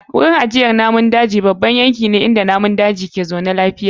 Wurin ajiyar namun daji babban yanki ne inda namun daji ke zaune lafiya.